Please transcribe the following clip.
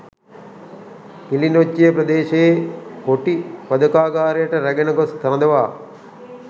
කිලිනොච්චිය ප්‍රදේශයේ කොටි වධකාගාරයට රැගෙන ගොස් රඳවා